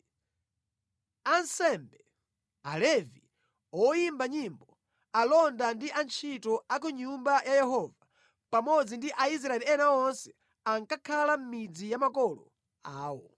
Ansembe, Alevi, oyimba nyimbo, alonda ndi antchito a ku Nyumba ya Yehova pamodzi ndi Aisraeli ena onse ankakhala mʼmidzi ya makolo awo.